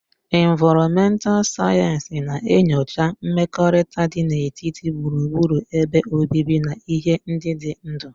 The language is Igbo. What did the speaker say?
Ịnvaromental Sayensị na-enyocha mmekọrịta dị n'etiti gburugburu ebe obibi na ihe ndị dị ndụ.